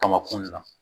Kama kun na